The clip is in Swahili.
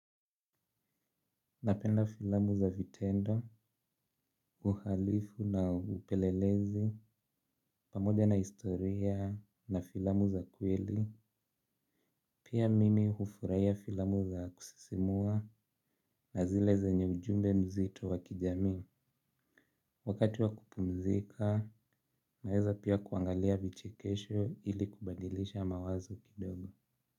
Napenda filamu za vitendo, uhalifu na upelelezi, pamoja na historia, na filamu za kweli, pia mimi ufuraiya filamu za kusisimua, na zile zenye ujumbe mzito wa kijami, wakati wa kupumzika, naeza pia kuangalia vichekesho ili kubadilisha mawazo kidogo.